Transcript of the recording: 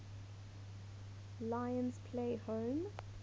lions play home